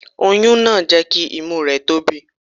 Oyún náà jẹ́ kí imú rẹ̀ tóbi.